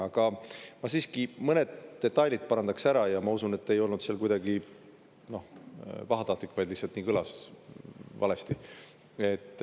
Aga ma siiski mõned detailid parandaks ära ja ma usun, et te ei olnud pahatahtlik, vaid lihtsalt nii kõlas, valesti.